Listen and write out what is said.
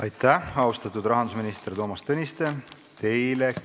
Aitäh, austatud rahandusminister Toomas Tõniste!